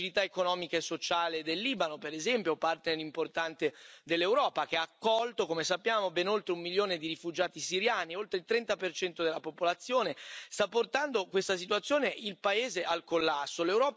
La fragilità economica e sociale del Libano, per esempio, partner importante dell'Europa, che ha accolto, come sappiamo, ben oltre un milione di rifugiati siriani, oltre il 30 della popolazione, una situazione che sta portando il paese al collasso.